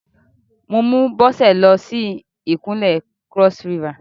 Mo mú Bọ́sẹ̀ lọ sí Ìpínlẹ̀ Cross River.